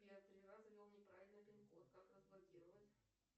я три раза ввел неправильно пин код как разблокировать